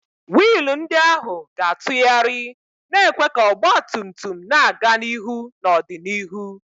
wiil ndị ahụ ga-atụgharị, na-ekwe ka ọgba tum tum na-aga n'ihu n'ọdịnihu.